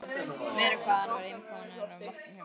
Meira hvað hann var impóneraður af matnum hjá mér.